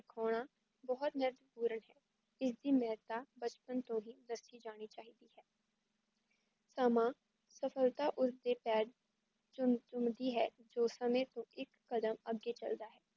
ਬਹੁਤ ਮਹਤਪੂਰਣ ਹੈ ਇਸ ਦੀ ਮੇਹੱਤਾ ਬਕਪਣ ਤੋਂ ਹੀ ਬਰਤੀ ਜਾਣੀ ਚਾਹੀਦੀ ਹੈ ਸਮਾਂ ਸਫ਼ਲਤਾ ਉਸਦੇ ਪੈਰ ਚੁਮ ਚੁਮਦੀ ਹੈ ਜੋ ਸਮੇ ਤੋਂ ਇੱਕ ਕਦਮ ਅੱਗੇ ਚੱਲਦਾ ਹੈ